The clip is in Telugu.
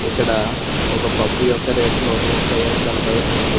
ఇక్కడ ఒక పప్పు యొక్క రేటు నూట మ్యుపై కనబడుతుంది.